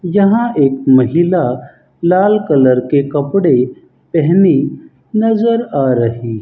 यहां एक महिला लाल कलर के कपड़े पहनी नजर आ रही --